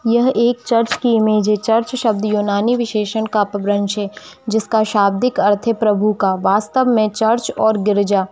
यह एक चर्च की इमेज है चर्च शब्द यूनानी विशेषण का प्रवंच है जिसका शाब्दिक अर्थ है प्रभु का वास्तव में चर्च और गिरजा --